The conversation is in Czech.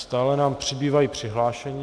Stále nám přibývají přihlášení.